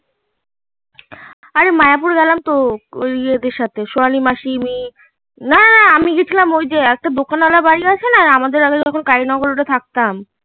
আরে মায়াপুর গেলাম তো ওই ইয়াদের সাথে সোয়ালি মাসি একটা দোকান আলা বাড়ি আছে না আমাদের আগে কালিনগর যখন ওটা থাকতাম